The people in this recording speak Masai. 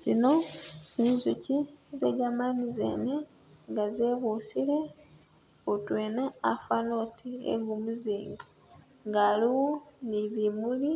tsino zinzuji zegamani zene nga zebusile hutwena afana oti egu muzinga, nga aliwo ni bimuli